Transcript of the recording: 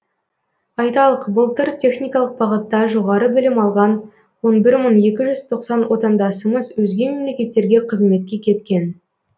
айталық былтыр техникалық бағытта жоғары білім алған он бір мың екі жүз тоқсан отандасымыз өзге мемлекеттерге қызметке кеткен